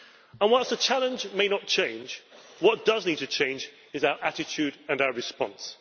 And whilst the challenge may not change, what does need to change is our attitude and our response.